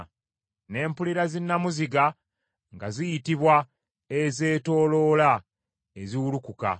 Ne mpulira zinnamuziga nga ziyitibwa “ezeetooloola eziwulukuka.”